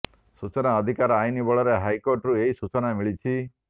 ସୂଚନା ଅଧିକାର ଆଇନ ବଳରେ ହାଇକୋର୍ଟରୁ ଏହି ସୂଚନା ମିଳିଛି